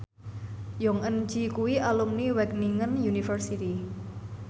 Jong Eun Ji kuwi alumni Wageningen University